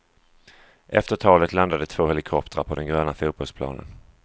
Efter talet landade två helikoptrar på den gröna fotbollsplanen.